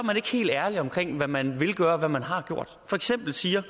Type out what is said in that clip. helt ærlige omkring hvad man vil gøre og hvad man har gjort for eksempel siger